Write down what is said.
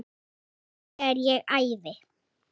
Jú, þegar ég æfi.